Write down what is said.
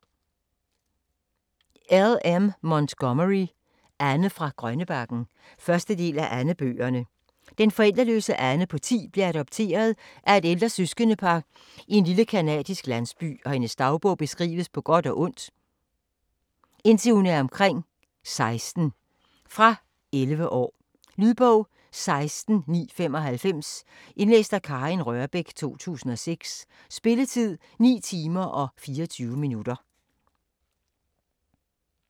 Montgomery, L. M.: Anne fra Grønnebakken 1. del af Anne-bøgerne. Den forældreløse Anne på 10 bliver adopteret af et ældre søskendepar i en lille canadisk landsby, og hendes dagligdag beskrives på godt og ondt, indtil hun er omkring 16. Fra 11 år. Lydbog 16995 Indlæst af Karin Rørbech, 2006. Spilletid: 9 timer, 24 minutter.